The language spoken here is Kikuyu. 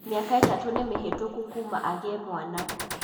Mĩaka ĩtatũ nĩmĩhĩtũku kuma agĩe mwana